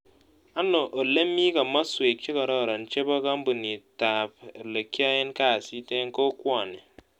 Ano olemi komosuek chegororon chebo kampunitap olegiyaen kazit eng' kokwani